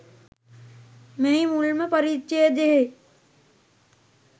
මෙහි මුල්ම පරිච්ඡේදයෙහි